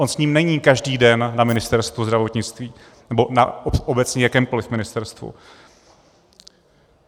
On s ním není každý den na Ministerstvu zdravotnictví, nebo obecně na jakémkoliv ministerstvu.